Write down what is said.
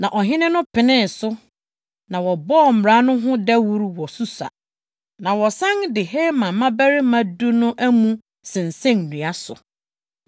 Na ɔhene no penee so, na wɔbɔɔ mmara no ho dawuru wɔ Susa. Wɔsan de Haman mmabarima du no amu sensɛn nnua so.